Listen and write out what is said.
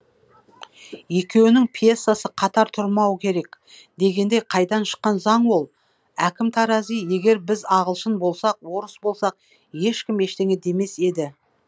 екеуінің пьесасы қатар тұрмау керек дегенде қайдан шыққан заң ол әкім тарази егер біз ағылшын болсақ орыс болсақ ешкім ештеңе демес еді